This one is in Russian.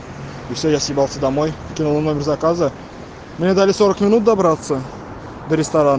что я собирался домой кино номер заказа мне дали минут добраться до